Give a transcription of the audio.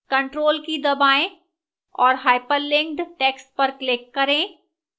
ctrl key दबाएं और hyperlinked text पर click करें